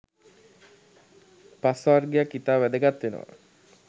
පස් වර්ගයක් ඉතා වැදගත් වෙනවා